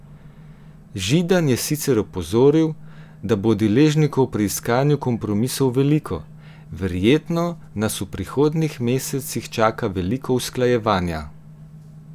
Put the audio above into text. Židan je sicer opozoril, da bo deležnikov pri iskanju kompromisov veliko: "Verjetno nas v prihodnjih mesecih čaka veliko usklajevanja.